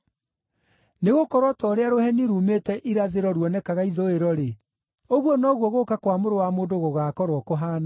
Nĩgũkorwo o ta ũrĩa rũheni ruumĩte irathĩro ruonekaga ithũĩro-rĩ, ũguo noguo gũũka kwa Mũrũ wa Mũndũ gũgaakorwo kũhaana.